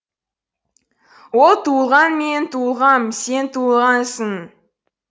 ол туылған мен туылғам сен туылғансың